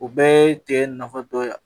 U bɛɛ ye cɛ nafa dɔ ye